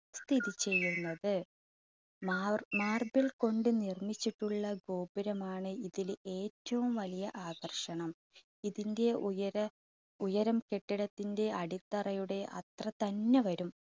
സ്ഥിതിചെയ്യുന്നത്. മാർ~ marble കൊണ്ട് നിർമ്മിച്ചിട്ടുള്ള ഗോപുരമാണ് ഇതില് ഏറ്റവും വലിയ ആകർഷണം ഇതിന്റെ ഉയര, ഉയരം കെട്ടിടത്തിന്റെ അടിത്തറയുടെ അത്ര തന്നെ വരും.